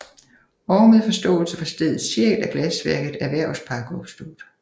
Og med forståelse for stedets sjæl er glasværket Erhvervspark opstået